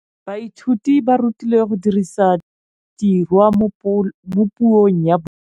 Baithuti ba rutilwe go dirisa tirwa mo puong ya bone.